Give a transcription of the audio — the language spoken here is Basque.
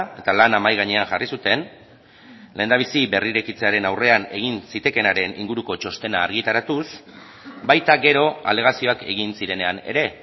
eta lana mahai gainean jarri zuten lehendabizi berrirekitzearen aurrean egin zitekeenaren inguruko txostena argitaratuz baita gero alegazioak egin zirenean ere